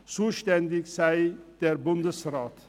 zuständig sei der Bundesrat.